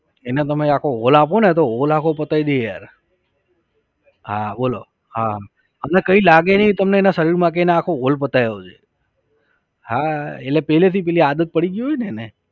એને તમે આખો હોલ આપોને તો હોલ આખો પતાવી દે યાર. હા બોલો હા અને કઈ લાગે નઈ તેમના શરીરમાં કે તેને આખો હોલ પતાવ્યો છે. હા એટલે પહેલેથી પેલી આદત પડી ગઈ હોય ને એને